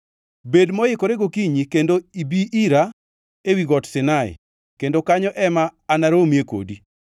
Bed moikore gokinyi kendo ibi ira ewi Got Sinai kendo kanyo ema anaromie kodi.